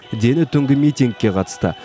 дені түнгі митингке қатысты